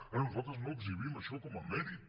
ara nosaltres no exhibim això com a mèrit